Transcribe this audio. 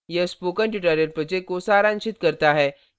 यह spoken tutorial project को सारांशित करता है